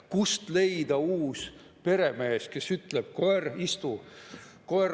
Kust leida uus peremees, kes ütleb: "Koer, istu!